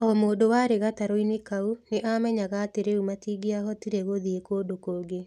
O mũndũ warĩ gatarũ-inĩ kau nĩ aamenyaga atĩ rĩu matingĩahotire gũthiĩ kũndũ kũngĩ.